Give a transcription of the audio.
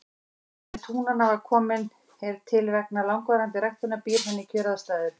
Frjósemi túnanna sem komin er til vegna langvarandi ræktunar býr henni kjöraðstæður.